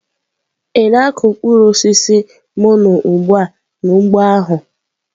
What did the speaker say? Ị na-akụ mkpụrụ osisi mono ugbu a n'ugbo ahụ?